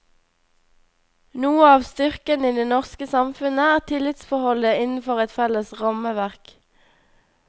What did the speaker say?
Noe av styrken i det norske samfunnet er tillitsforholdet innenfor et felles rammeverk.